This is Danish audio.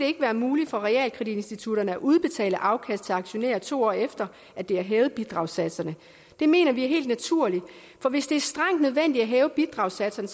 ikke være muligt for realkreditinstitutterne at udbetale afkast til aktionærer to år efter at de har hævet bidragssatserne det mener vi er helt naturligt for hvis det er strengt nødvendigt at hæve bidragssatserne